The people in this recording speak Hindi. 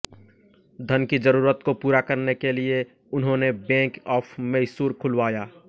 धन की जरूरत को पूरा करने के लिए उन्होंने बैंक ऑफ मैसूर खुलवाया